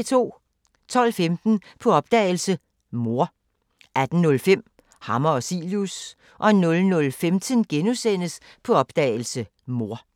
12:15: På opdagelse – Mor 18:05: Hammer og Cilius 00:15: På opdagelse – Mor *